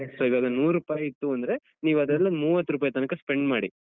So ಇವಾಗ ನೂರುಪೈ ಇತ್ತು, ಅಂದ್ರೆ ನೀವ್ ಅದೆಲ್ಲ ಮೂವತ್ ರುಪೈ ತನಕ spend ಮಾಡಿ.